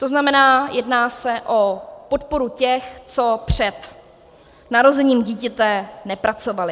To znamená, jedná se o podporu těch, co před narozením dítěte nepracovali.